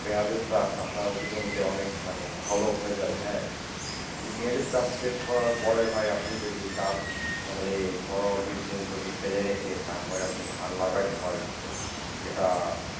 পেঁয়াজের চাষ আপনার উঁচু জমিতে অনেক মানে ভালো হয়ে যাবে হ্যাঁ। পেঁয়াজের চাষ শেষ করার পরে ভাই আপনি যদি চান তাহলে পনেরো বিশ দিন জমি ফেলে রেখে তারপরে আপনি ধান লাগাইতে পারেন ভাই। এটা,